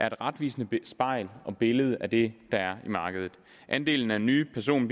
en retvisende spejling og billede af det der er i markedet andelen af nye person